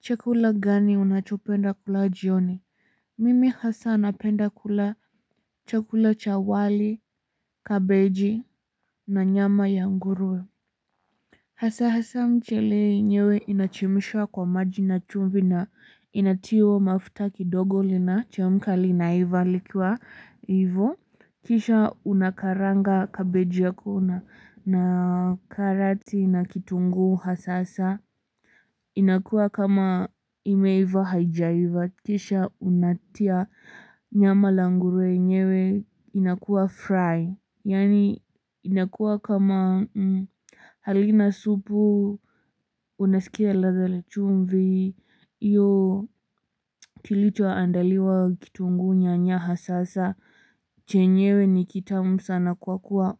Chakula gani unachopenda kula jioni? Mimi hasa napenda kula chakula cha wali, kabeji, na nyama ya ngurue. Hasa hasa mchele yenyewe inachemshwa kwa maji na chumvi na inatiwa mafuta kidogo linachemka likiwa hivyo. Kisha unakaranga kabeji yako na karati na kitunguu hasa hasa. Inakua kama imeiva hajaiva, kisha unatia nyama la ngure yenyewe inakua fry yaani inakua kama halina supu, unasikia ladha la chumvi hiyo kilichoandaliwa kitunguu nyany haha sasa chenyewe ni kitamu sana kwa kuwa